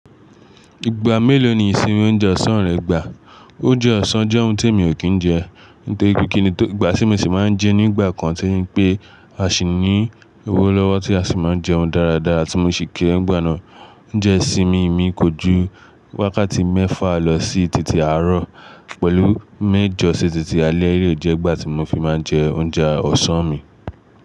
Ìgbà mélòó ni ìsinmi ounjẹ ọ̀sán rẹ gbà? Oúnjẹ ọ̀sán jẹ́ ohun tí èmi ò kí ń jẹ. Nítorí pe kini, tó ìgbà tí mo sì máa ń jẹ nígbà kan, tí o je pé a sì ní owó lọ́wọ́ tí a sì máa ń jẹun dáradára tí mo sì kéré nigba nà oúnjẹ isinmi mi kò ju wákàtí mẹ́fà lọ sí títí àárọ̀ pẹ̀lú méjọ sí títí alẹ́ eléyi jẹ́ ìgbà tí mo fi máa ń jẹ oúnjẹ ọ̀sán mi.